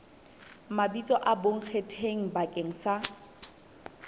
mabitso a bonkgetheng bakeng sa